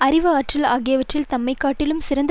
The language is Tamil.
அறிவு ஆற்றல் ஆகியவற்றில் தம்மை காட்டிலும் சிறந்த